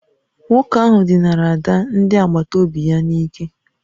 Nwoke ahụ dinara ada ndị agbata obi ya n'ike